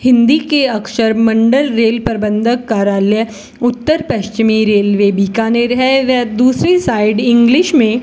हिंदी के अक्षर मंडल रेल प्रबंधक कार्यालय उत्तर पश्चिमी रेलवे बीकानेर है व दूसरी साइड इंग्लिश में --